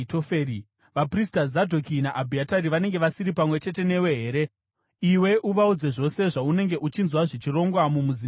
Vaprista Zadhoki naAbhiatari vanenge vasiri pamwe chete newe here? Iwe uvaudze zvose zvaunenge uchinzwa zvichirongwa mumuzinda wamambo.